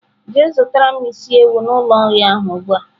Jee zutara m isi ewu n'ulo nri ahu ugbua!.